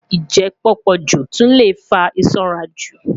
Njẹ pupọju tun le fa isanraju